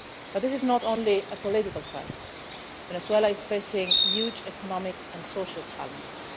This is not only a political crisis Venezuela is facing huge economic and social challenges.